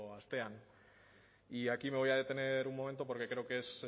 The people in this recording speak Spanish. astean y aquí me voy a detener un momento porque creo que es